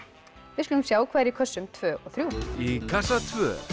við skulum sjá hvað er í kössum tvö og þrjú í kassa tvö